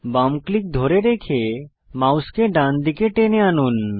বাম ক্লিক ধরে রেখে মাউসকে ডান দিকে টেনে আনুন